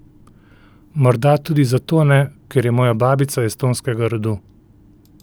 Morda tudi zato ne, ker je moja babica estonskega rodu.